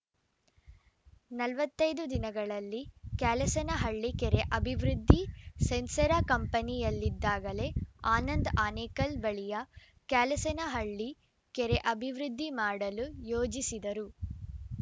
ನಲವತ್ತ್ ಐದು ದಿನಗಳಲ್ಲಿ ಕ್ಯಾಲಸನಹಳ್ಳಿ ಕೆರೆ ಅಭಿವೃದ್ಧಿ ಸೆನ್ಸೇರಾ ಕಂಪನಿಯಲ್ಲಿದ್ದಾಗಲೇ ಆನಂದ್‌ ಆನೆಕಲ್‌ ಬಳಿಯ ಕ್ಯಾಲಸನಹಳ್ಳಿ ಕೆರೆ ಅಭಿವೃದ್ಧಿ ಮಾಡಲು ಯೋಜಿಸಿದರು